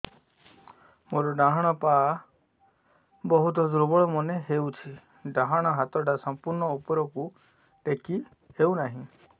ମୋର ଡାହାଣ ପାଖ ବହୁତ ଦୁର୍ବଳ ମନେ ହେଉଛି ଡାହାଣ ହାତଟା ସମ୍ପୂର୍ଣ ଉପରକୁ ଟେକି ହେଉନାହିଁ